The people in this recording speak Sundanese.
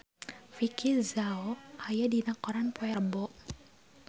Vicki Zao aya dina koran poe Rebo